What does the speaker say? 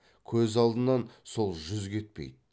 көз алдынан сол жүз кетпейді